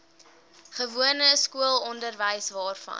gewone skoolonderwys waarvan